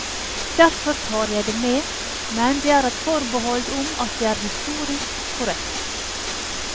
Derfor tar jeg det med, men med et forbehold om at det er historisk korrekt.